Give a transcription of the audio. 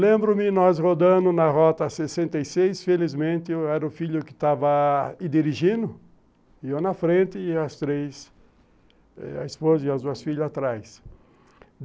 Lembro-me, nós rodando na rota sessenta e seis, felizmente, era o filho que estava dirigindo, eu na frente e as três, a esposa e as duas filhas atrás.